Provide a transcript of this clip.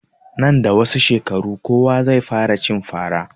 Nan da wasu shekaru kowa zai fara cin fara